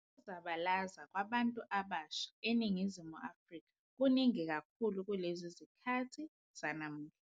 Ukuzabalaza kwabantu abasha eNingizimu Afrika kuningi kakhulu kulezi zikhathi zanamuhla.